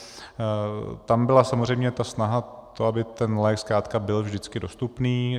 Tam byla samozřejmě snaha o to, aby ten lék zkrátka byl vždycky dostupný.